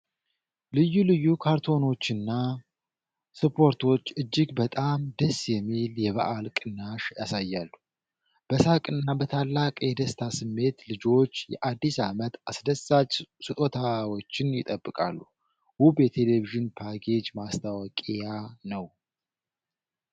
ልዩ ልዩ ካርቱኖችና ስፖርቶች እጅግ በጣም ደስ የሚል የበዓል ቅናሽ ያሳያሉ። በሳቅና በታላቅ የደስታ ስሜት ልጆች የአዲስ ዓመት አስደሳች ስጦታዎችን ይጠብቃሉ። ውብ የቴሌቪዥን ፓኬጅ ማስታወቂያ ነው።